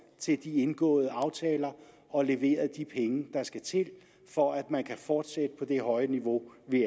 til de indgåede aftaler og leveret de penge der skal til for at man kan fortsætte på det høje niveau vi